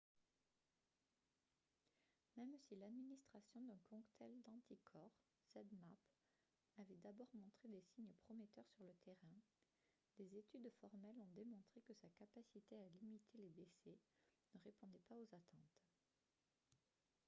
même si l'administration d'un cocktail d'anticorps zmapp avait d'abord montré des signes prometteurs sur le terrain des études formelles ont démontré que sa capacité à limiter les décès ne répondait pas aux attentes